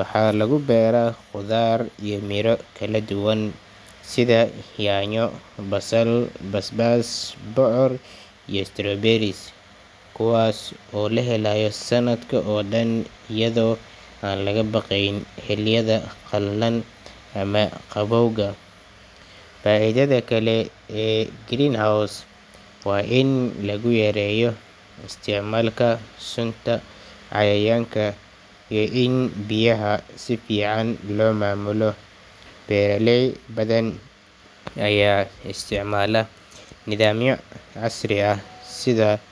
Waxaa lagu beeraa khudaar iyo miro kala duwan sida yaanyo, basal, basbaas, bocor, iyo strawberries, kuwaas oo la helayo sanadka oo dhan iyadoo aan laga baqayn xilliyada qalalan ama qabowga. Faa’iidada kale ee greenhouse waa in lagu yareeyo isticmaalka sunta cayayaanka iyo in biyaha si fiican loo maamulo. Beeraley badan ayaa isticmaala nidaamyo casri ah sida.